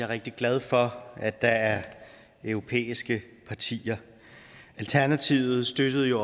rigtig glad for at der er europæiske partier alternativet støttede jo